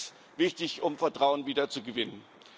Auch das ist wichtig, um Vertrauen wiederzugewinnen.